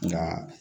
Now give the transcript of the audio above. Nka